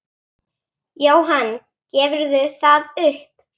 Jóhann: Gefurðu það upp?